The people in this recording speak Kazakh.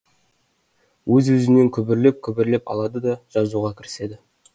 өз өзінен күбірлеп күбірлеп алады да жазуға кіріседі